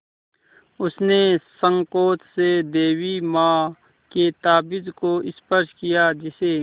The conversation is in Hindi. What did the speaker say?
उसने सँकोच से देवी माँ के ताबीज़ को स्पर्श किया जिसे